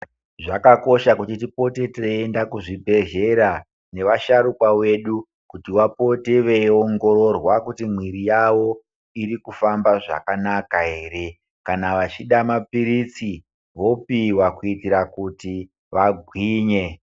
Zvakakosha kuti tipote teienda kuzvibhedhlera nevasharukwa vedu kuti vapote veiiongororwa kuti mwiri yao iri kufamba zvakanaka ere kana vachida mapiritsi vopihwa kuitira kuti vagwinye.